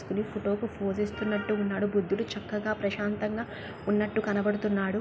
ఇతను ఫోటోకి పోజ్ ఇస్తున్నటున్నాడు.బుద్ధుడు చక్కగా ప్రశాంతంగా ఉన్నట్టు కనబడుతున్నాడు.